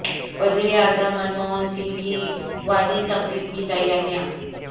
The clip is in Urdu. وزیر اعظم من موہن سنگھ کی وداعی تقریب کی تیاریاں